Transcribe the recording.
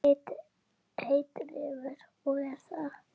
Heitir Refur og er það.